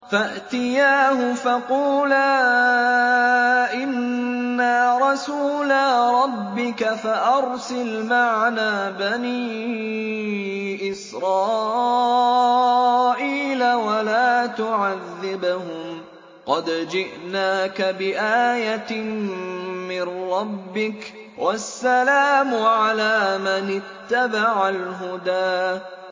فَأْتِيَاهُ فَقُولَا إِنَّا رَسُولَا رَبِّكَ فَأَرْسِلْ مَعَنَا بَنِي إِسْرَائِيلَ وَلَا تُعَذِّبْهُمْ ۖ قَدْ جِئْنَاكَ بِآيَةٍ مِّن رَّبِّكَ ۖ وَالسَّلَامُ عَلَىٰ مَنِ اتَّبَعَ الْهُدَىٰ